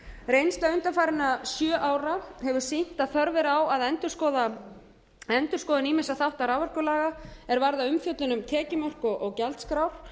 reynsla undanfarinna sjö ára hefur sýnt að þörf er á endurskoðun ýmissa þátta raforkulaga er varða umfjöllun um tekjumörk og gjaldskrár